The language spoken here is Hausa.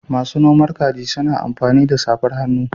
Masu noman kaji suna amfani da safar hannu.